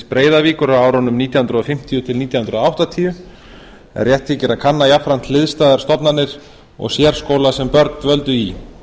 breiðavíkur á árunum nítján hundruð fimmtíu til nítján hundruð áttatíu en rétt þykir að kanna jafnframt hliðstæðar stofnanir og sérskóla sem börn dvöldu í